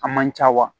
A man ca wa